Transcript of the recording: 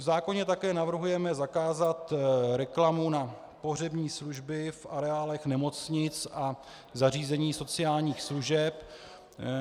V zákoně také navrhujeme zakázat reklamu na pohřební služby v areálech nemocnic a zařízení sociálních služeb.